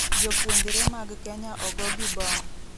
Jopuonjre mag Kenya ogo gi bom